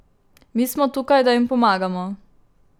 Mi smo tukaj, da jim pomagamo.